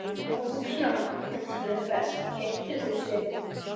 Ung hjón með tvö börn keyptu húsið.